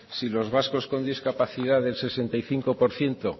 si los vascos con discapacidad del sesenta y cinco por ciento